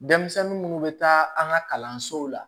Denmisɛnnin munnu bɛ taa an ka kalansow la